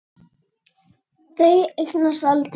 Þau eignast aldrei neitt.